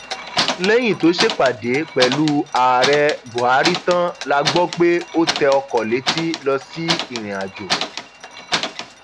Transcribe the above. lẹyìn tó ṣèpàdé pẹlú ààrẹ buhari tán la gbọ pé ó tẹ ọkọ létí lọ sí ìrìnàjò